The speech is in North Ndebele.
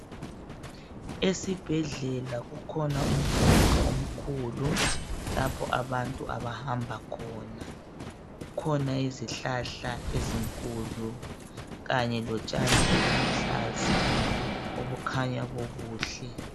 Esibhedlela kukhona umgwaqo omkhulu lapho abantu abahamba khona. Kukhona izihlahla ezinkulu kanye lotshani obuluhlaza , obukhanya bubuhle.